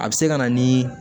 A bɛ se ka na ni